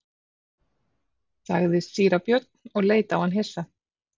sagði síra Björn og leit á hann hissa.